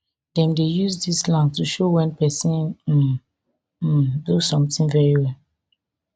dem dey use dis slang to show wen pesin um um do something very well